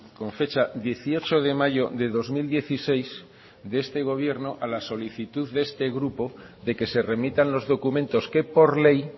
con fecha dieciocho de mayo de dos mil dieciséis de este gobierno a la solicitud de este grupo de que se remitan los documentos que por ley